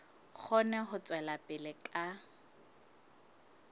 kgone ho tswela pele ka